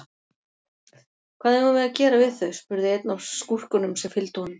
Hvað eigum við að gera við þau, spurði einn af skúrkunum sem fylgdu honum.